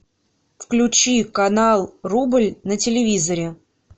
включи канал рубль на телевизоре